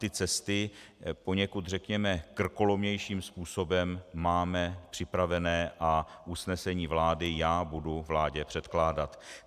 Ty cesty poněkud, řekněme, krkolomnějším způsobem máme připravené a usnesení vlády já budu vládě předkládat.